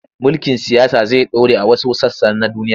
Mulkin siyasa zai ɗore a wasu sassa na duniya.